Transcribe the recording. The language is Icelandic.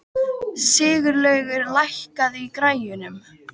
Sigurlaugur, lækkaðu í græjunum.